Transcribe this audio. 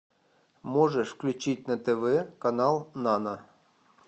можешь включить на тв канал нано